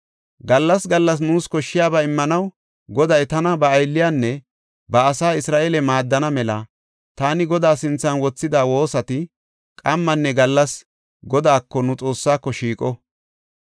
Gallas gallas nuus koshshiyaba immanaw Goday tana ba aylliyanne ba asaa Isra7eele maaddana mela, taani Godaa sinthan woossida woosati qammanne gallas Godaako, nu Xoossaako, shiiqo.